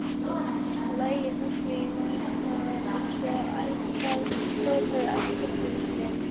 lagi, höggvin í marmara, eins og ævafornir elskendur í gler